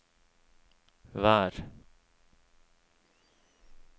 vær